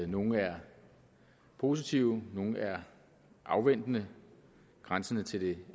nogle er positive nogle er afventende grænsende til det